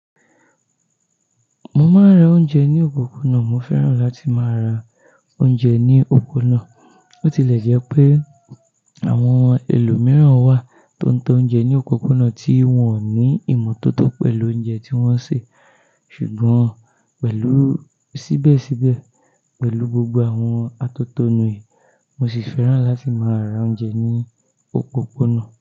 Mo máa ra oúnjẹ ní òpópónà, mo fẹ́ràn láti máa ra oúnjẹ ní òpópónà. Bo ti lẹ̀ jẹ́ pé àwọn ẹlòmíràn wà tó ń ta oúnjẹ ní òpópónà tí wọ́n ò ní ìmọ́tótó pẹ̀lú oúnjẹ tí wọ́n ń ṣe. Ṣùgbọ́n pẹ̀lú síbẹ̀síbẹ̀, pẹ̀lú gbogbo àwọn àtòtònu yìí, mo sì fẹ́ràn láti máa ra oúnjẹ ní òpópónà.